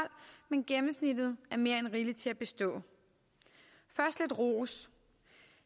men gennemsnittet er mere end rigeligt til at bestå først lidt ros